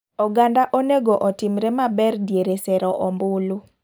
Oganda onego otimre maber diere sero ombulu.